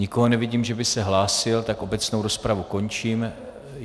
Nikoho nevidím, že by se hlásil, tak obecnou rozpravu končím.